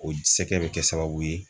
O sɛkɛ be kɛ sababu ye